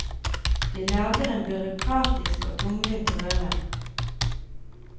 De lager en byråkratisk og tungvint røre.